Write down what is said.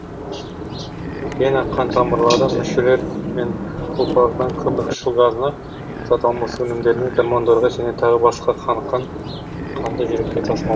вена қантамырлары мүшелер мен ұлпалардан көмірқышқыл газына зат алмасу өнімдеріне гормондарға және тағы басқа қаныққан қанды жүрекке тасымал